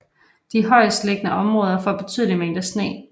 De højestliggende områder får betydelige mængder sne